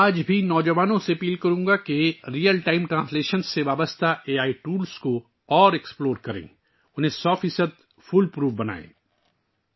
میں آج کی نوجوان نسل سے اپیل کروں گا کہ وہ ریئل ٹائم ٹرانسلیشن سے جڑے اے آئی ٹولز کو مزید دریافت کریں اور انہیں 100 فیصد فول پروف بنائیں